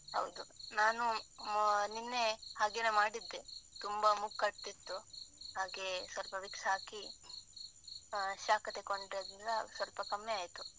ಹೌದು. ನಾನು ನಿನ್ನೆ ಹಾಗೇನೇ ಮಾಡಿದ್ದೆ. ತುಂಬಾ ಮೂಗ್ ಕಟ್ತಿತ್ತು. ಹಾಗೇ, ಸ್ವಲ್ಪ vicks ಹಾಕಿ, ಆಹ್ ಶಾಖ ತಕೊಂಡ್ನಂತ್ರ ಸ್ವಲ್ಪ ಕಮ್ಮಿ ಆಯ್ತು.